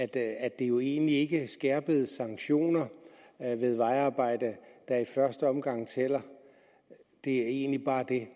det er jo egentlig ikke skærpede sanktioner ved vejarbejde der i første omgang tæller det er egentlig bare det at